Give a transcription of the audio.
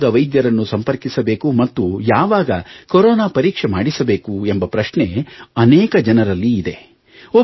ಯಾವಾಗ ವೈದ್ಯರನ್ನು ಸಂಪರ್ಕಿಸಬೇಕು ಮತ್ತು ಯವಾಗ ಕರೋನಾ ಪರೀಕ್ಷೆ ಮಾಡಿಸಬೇಕು ಎಂಬ ಪ್ರಶ್ನೆ ಅನೇಕ ಜನರಲ್ಲಿದೆ